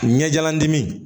Ɲɛjalan dimi